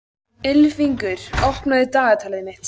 Ylfingur, opnaðu dagatalið mitt.